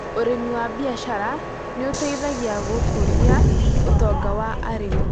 Ũrĩmi wa biacara nĩ ũteithagia gũkũria ũtonga wa arĩmi.